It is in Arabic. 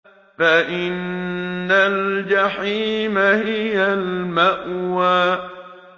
فَإِنَّ الْجَحِيمَ هِيَ الْمَأْوَىٰ